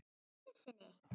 Bara einu sinni?